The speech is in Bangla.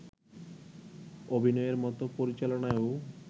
অভিনয়ের মতো পরিচালনায়ও